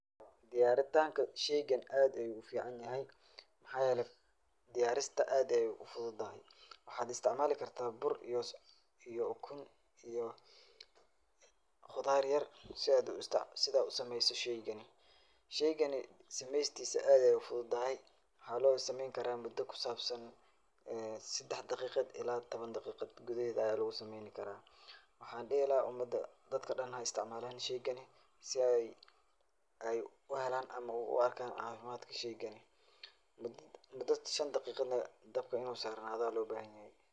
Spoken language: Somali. Diyaaritaanka shaygan aad ayuu u ficanyahay. Maxaa yeelay diyaarista aad ayaay u fududahay. Waxaad istacmaali kartaa bur iyo ukun iyo qudaar yer si aad u sameeyso shaygan. Shaygani sameystiisa aad ayaay u fududahay. Waxaa looga sameynkaraa mudo ku saabsan sedax daqiiqad ilaa toban daqiiqad gudaheeda ayaa lugu sameynikara. Waxaan dhihi lahaa umada dadka dhan ha istacmaalaan shaygani si ay u helaan ama u arkaan caafimaadka shaygani. Mudo shan daqiiqana in dabka in uu saarnada ayaa loo baahinyahay.